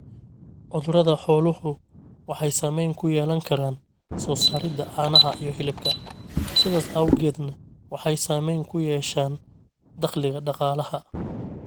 Cudurada xooluhu waxay saamayn ku yeelan karaan soo saarista caanaha iyo hilibka, sidaas awgeedna waxay saamayn ku yeeshaan dakhliga dhaqalaha.